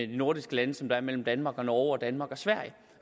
nordiske lande som der er mellem danmark og norge og danmark og sverige